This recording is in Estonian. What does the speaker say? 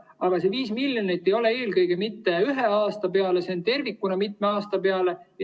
Aga see 5 miljonit ei ole mitte ühe aasta peale, see on tervikuna mitme aasta peale.